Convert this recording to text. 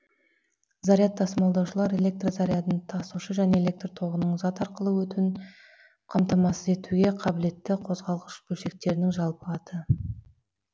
заряд тасымалдаушылар электр зарядын тасушы және электр тоғының зат арқылы өтуін қамтамасыз етуге қабілетгі қозғалғыш бөлшектердің жалпы аты